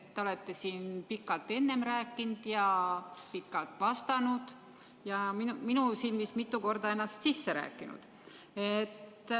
Te olete siin pikalt rääkinud ja pikalt vastanud ning minu silmis ennast mitu korda sisse rääkinud.